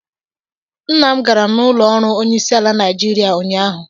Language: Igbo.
Nna m gara n'ụlọ ọrụ onyeisiala Naijiria ụnyahụ